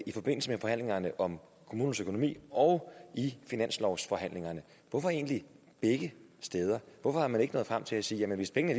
i forbindelse med forhandlingerne om kommunernes økonomi og i finanslovsforhandlingerne hvorfor egentlig begge steder hvorfor er man ikke nået frem til at sige at hvis pengene